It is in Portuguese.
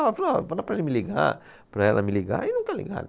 Fala para ele me ligar, para ela me ligar, e nunca ligaram.